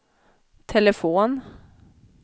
telefon